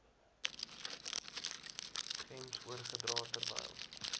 gems oorgedra terwyl